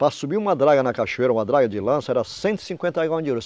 Para subir uma draga na cachoeira, uma draga de lança, era cento e cinquenta